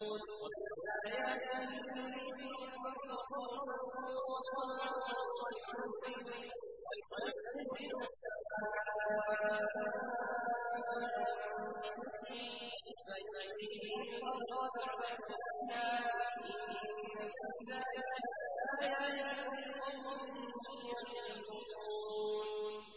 وَمِنْ آيَاتِهِ يُرِيكُمُ الْبَرْقَ خَوْفًا وَطَمَعًا وَيُنَزِّلُ مِنَ السَّمَاءِ مَاءً فَيُحْيِي بِهِ الْأَرْضَ بَعْدَ مَوْتِهَا ۚ إِنَّ فِي ذَٰلِكَ لَآيَاتٍ لِّقَوْمٍ يَعْقِلُونَ